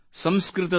ಸೋದರಿ ಚಿನ್ಮಯಿ